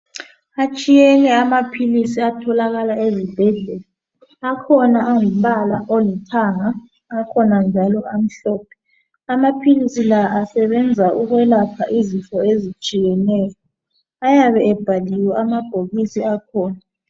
Atshiyene amaphilisi atholakala ezibhedlela. Akhona angumbala olithanga, akhona njalo amhlophe. Amaphilisi la asebenza ukwelapha izifo ezitshiyeneyo. Ayabe ebhaliwe amabhokisi akhona.